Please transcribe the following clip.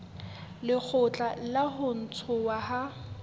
lekgotla la ho ntshuwa ha